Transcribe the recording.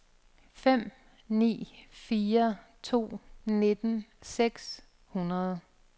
fem ni fire to nitten seks hundrede